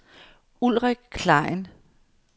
Ulrik Klein